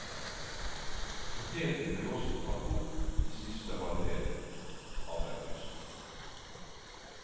Poteten ble også tatt opp i siste halvdel av august.